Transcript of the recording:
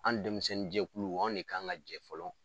An denmisɛnninjɛkulu an de kan ka jɛ fɔlɔ